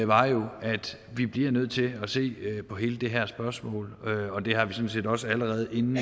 var jo at vi bliver nødt til at se på hele det her spørgsmål og det har vi sådan set også allerede inden